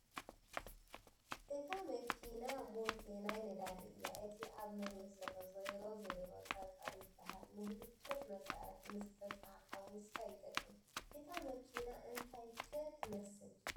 እታ መኪና ቦቴ ናይ ነዳዲ እያ እቲ ኣብ መሬት ዘሎ ዘይሮ ዘይሮ ፀፀር ይበሃል ንብሎኬት መስርሒ ምስ ሕፃ ሓዊስካ ይጠቕም ፡ እታ መኪና እንታይ ኮይ ትመስል ?